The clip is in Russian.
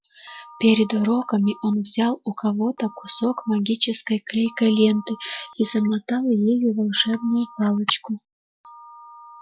перед уроками он взял у кого-то кусок магической клейкой ленты и замотал ею волшебную палочку